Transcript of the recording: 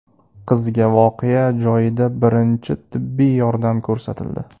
Qizga voqea joyida birinchi tibbiy yordam ko‘rsatildi.